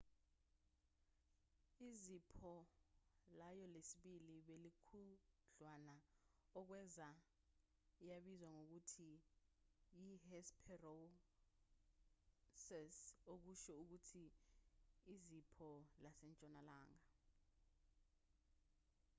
izipho layo lesibili belilikhudlwana okwenza yabizwa ngokuthi yi-hesperonychus okusho ukuthi izipho lasentshonalanga